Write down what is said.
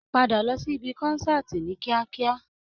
Padà lọ sí ìbi kọ́nsàtii ní kíákíá!